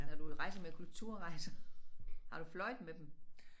Når du rejser med Kulturrejser har du fløjet med dem?